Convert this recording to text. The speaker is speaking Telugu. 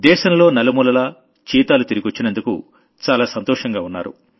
దేశంలో నలుమూలలా చీతాలు తిరిగొచ్చినందుకు చాలా సంతోషంగా ఉన్నారు